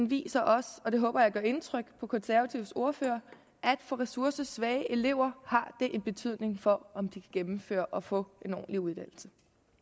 viser også og det håber jeg gør indtryk på de konservatives ordfører at for ressourcesvage elever har det en betydning for om de kan gennemføre og få en ordentlig uddannelse